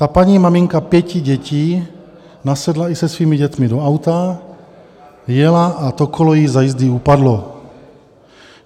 Ta paní, maminka pěti dětí, nasedla i se svými dětmi do auta, vyjela a to kolo jí za jízdy upadlo.